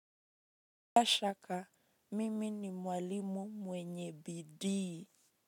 Bila shaka, mimi ni mwalimu mwenye bidii.